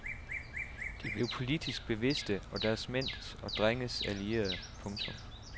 De blev politisk bevidste og deres mænds og drenges allierede. punktum